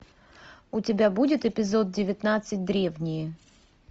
у тебя будет эпизод девятнадцать древние